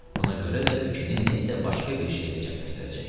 Buna görə də fikrini nə isə başqa bir şeydə cəmləşdirəcək.